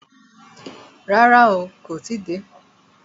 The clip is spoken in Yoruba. Rárá, kó tí ì dé.